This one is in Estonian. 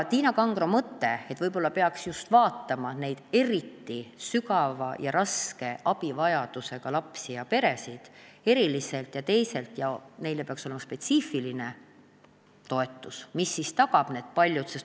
Tiina Kangrol oli mõte, et võib-olla peaks just eriti suure abivajadusega lapsi ja peresid eriliselt vaatama ning neile peaks olema spetsiifiline toetus, mis selle kõige tagab.